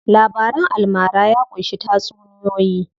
Labaran almara ya ƙunshi tatsuniyoyi.